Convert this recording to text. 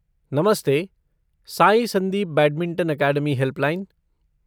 नमस्ते! Sai Sandeep badminton academy helpline.